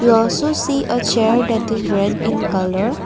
we also see a chair that is red in colour.